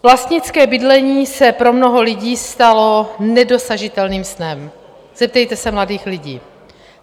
Vlastnické bydlení se pro mnoho lidí stalo nedosažitelným snem, zeptejte se mladých lidí.